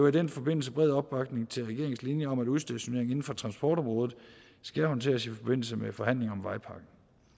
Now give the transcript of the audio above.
i den forbindelse bred opbakning til regeringens linje om at udstationering inden for transportområdet skal håndteres i forbindelse med forhandlingen om vejpakken